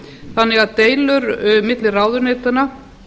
þannig að deilur milli ráðuneytanna